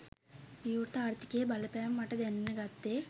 විවෘත ආර්ථිකයේ බලපෑම මට දැනෙන්න ගත්තෙ